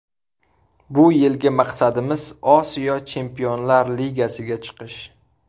Bu yilgi maqsadimiz Osiyo Chempionlar Ligasiga chiqish.